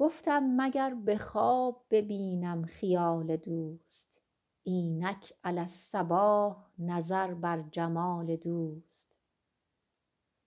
گفتم مگر به خواب ببینم خیال دوست اینک علی الصباح نظر بر جمال دوست